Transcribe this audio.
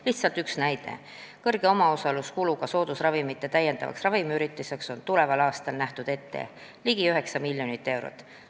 Lihtsalt üks näide: kõrge omaosaluskuluga soodusravimite täiendavaks ravimihüvitiseks on tuleval aastal nähtud ette ligi 9 miljonit eurot.